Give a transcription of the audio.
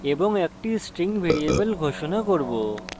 এবং একটি string variable ঘোষণা করব